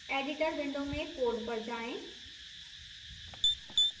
editor window में code पर जाएं